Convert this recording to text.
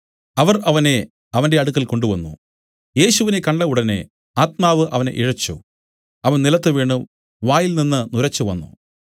അവർ അവനെ അവന്റെ അടുക്കൽ കൊണ്ടുവന്നു യേശുവിനെ കണ്ട ഉടനെ ആത്മാവ് അവനെ ഇഴച്ചു അവൻ നിലത്തുവീണു വായിൽനിന്ന് നുരച്ചുവന്നു